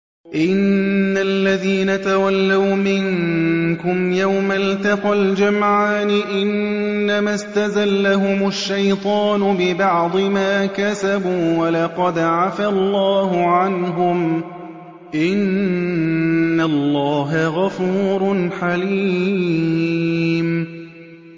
إِنَّ الَّذِينَ تَوَلَّوْا مِنكُمْ يَوْمَ الْتَقَى الْجَمْعَانِ إِنَّمَا اسْتَزَلَّهُمُ الشَّيْطَانُ بِبَعْضِ مَا كَسَبُوا ۖ وَلَقَدْ عَفَا اللَّهُ عَنْهُمْ ۗ إِنَّ اللَّهَ غَفُورٌ حَلِيمٌ